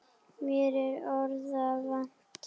Mér er orða vant.